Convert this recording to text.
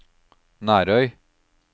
Nærøy